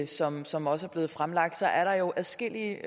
som som også er blevet fremlagt er der jo adskillige